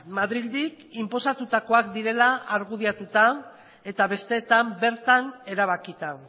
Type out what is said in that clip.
madrildik inposatutakoak direla argudiatuta eta besteetan bertan erabakita